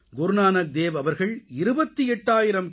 குருநானக் தேவ் அவர்கள் 28000 கி